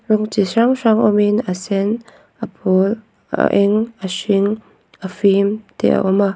rawng chi hrang hrang awm in a sen a pawl a eng a hring a fim te a awm a.